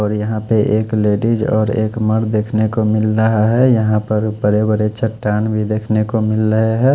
और यहाँ पे एक लेडिस और एक मर्द देख ने को मिल रहा है यहाँ पे बड़े बड़े चट्टान भी देख ने को मिल रहे है।